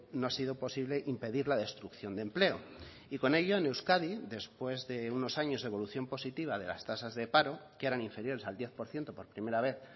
no ha sido posible impedir la destrucción de empleo y con ello en euskadi después de unos años evolución positiva de las tasas de paro que eran inferiores al diez por ciento por primera vez